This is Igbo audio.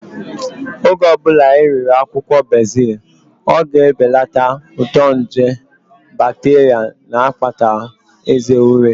Oge ọbụla ị riri akwụkwọ bezil, ọ ga-ebelata uto nje bakteria na-akpata eze ure